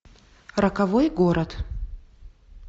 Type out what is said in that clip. роковой город